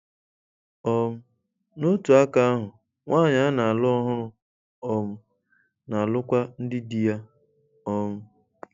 um N'otu aka ahụ, nwanyị a na-alụ ọhụrụ um na-alụkwa ndị di ya. um